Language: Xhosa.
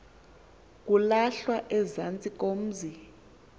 kulahlwa ezantsi komzi